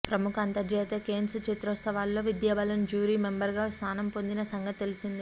ప్రముఖ అంతర్జాతీయ కేన్స్ చిత్రోత్సవాల్లో విద్యాబాలన్ జ్యూరీ మెంబర్ గా స్థానం పొందిన సంగతి తెలిసిందే